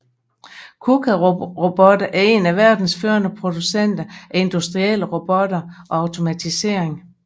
Kuka Roboter er en af verdens førende producenter af industrielle robotter og automatisering